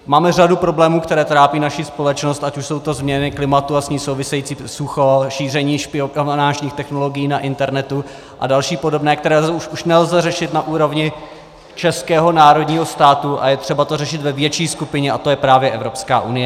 Máme řadu problémů, které trápí naši společnost, ať už jsou to změny klimatu a s tím související sucho, šíření špionážních technologií na internetu a další podobné, které už nelze řešit na úrovni českého národního státu a je třeba to řešit ve větší skupině, a to je právě Evropská unie.